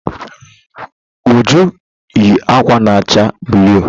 Uju yi ákwà na acha bluụ.